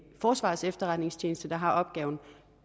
forsvarets efterretningstjeneste der har opgaven